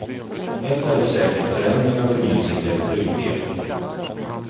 Ett är dock säkert förändringar och förnyelse kräver trygghet.